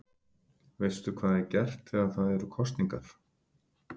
Veistu hvað er gert þegar það eru kosningar?